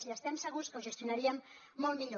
i estem segurs que ho gestionaríem molt millor